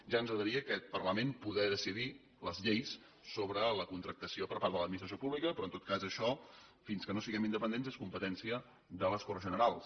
ja ens agradaria a aquest parlament poder decidir les lleis sobre la contractació per part de l’administració pública però en tot cas això fins que no siguem independents és competència de les corts generals